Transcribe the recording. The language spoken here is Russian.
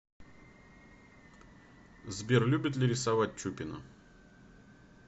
сбер любит ли рисовать чупина